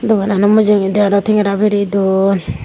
doganano mujungedi ole tengera biri duon.